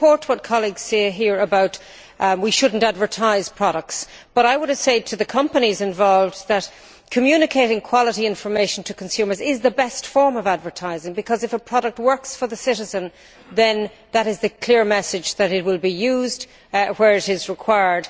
I support colleagues here who say that we should not advertise products, and would say to the companies involved that communicating quality information to consumers is the best form of advertising, because if a product works for the citizen, then that is a clear message that it will be used where it is required.